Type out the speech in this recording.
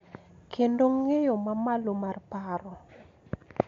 Kendo ng�eyo ma malo mar paro.